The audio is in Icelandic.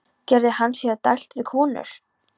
Gerði hann sér dælt við konur?